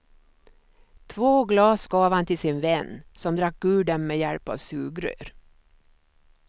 Två glas gav han till sin vän, som drack ur dem med hjälp av sugrör.